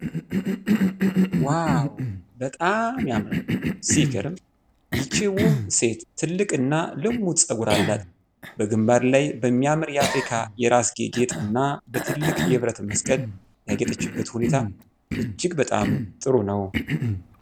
ዋው፣ በጣም ያምራል! ሲገርም! ይህች ውብ ሴት ትልቅ እና ልሙጥ ጸጉር አላት። በግንባር ላይ በሚያምር የአፍሪካ የራስጌ ጌጥ እና በትልቅ የብረት መስቀል ያጌጠችበት ሁኔታ እጅግ በጣም ጥሩ ነው።